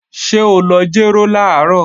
Ṣé o lọ jéró làárọ̀?